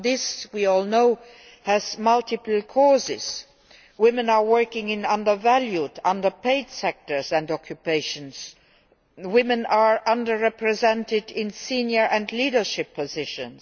Now this, we all know, has multiple causes women are working in undervalued and underpaid sectors and occupations women are under represented in senior and leadership positions